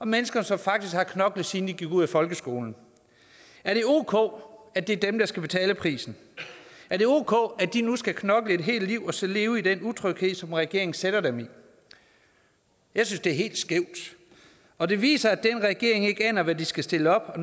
mennesker som faktisk har knoklet siden de gik ud af folkeskolen er det ok at det er dem der skal betale prisen er det ok at de nu skal knokle et helt liv og så leve i den utryghed som regeringen sætter dem i jeg synes det er helt skævt og det viser at den regering ikke aner hvad de skal stille op og